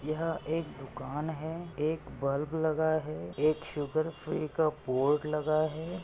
यह एक दुकान है एक बल्ब लगा है एक शुगर फ्री का बोर्ड लगा है।